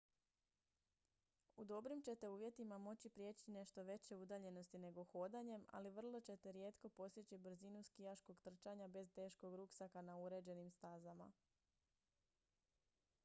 u dobrim ćete uvjetima moći prijeći nešto veće udaljenosti nego hodanjem ali vrlo ćete rijetko postići brzinu skijaškog trčanja bez teškog ruksaka na uređenim stazama